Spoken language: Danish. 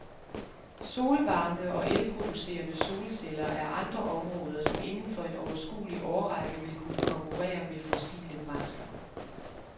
Solvarme og elproducerende solceller er andre områder, som inden for en overskuelig årrække vil kunne konkurrere med fossile brændsler.